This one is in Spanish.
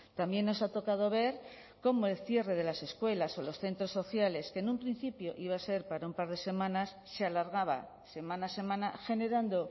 también nos ha tocado ver cómo el cierre de las escuelas o los centros sociales que en un principio iba a ser para un par de semanas se alargaba semana a semana generando